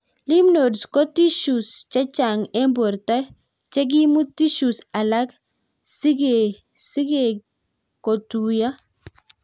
Lymph nodes ko tissues chechang' eng' borto chekiimut tissues alake cgekikotuiyo